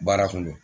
Baara kun do